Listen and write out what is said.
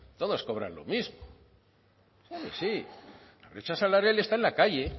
todos cobrar lo mismo la brecha salarial está en la calle